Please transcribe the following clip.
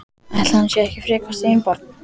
Ætli hann sé ekki frekar steinbarn.